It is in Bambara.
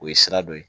O ye sira dɔ ye